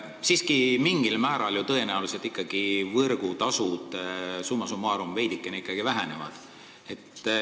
Siiski mingil määral võrgutasud summa summarum tõenäoliselt veidikene vähenevad.